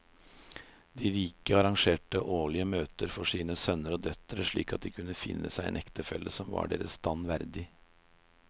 De rike arrangerte årlige møter for sine sønner og døtre slik at de kunne finne seg en ektefelle som var deres stand verdig.